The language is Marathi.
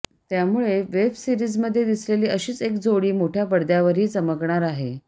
त्यामुळे वेबसीरिजमध्ये दिसलेली अशीच एक जोडी मोठ्या पडद्यावरही चमकणार आहे